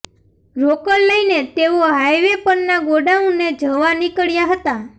રોકડ લઈને તેઓ હાઈવે પરના ગોડાઉને જવા નીકળ્યા હતા